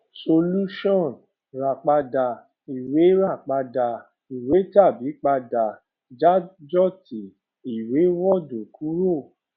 solusan ra pada iwe ra pada iwe tabi pada dajoti iwe ward[ kuro